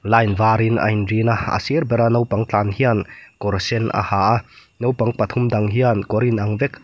line varin a inrin a a sir bera naupang tlan hian kawr sen a ha a naupang pathum dang hian kawr inang vek--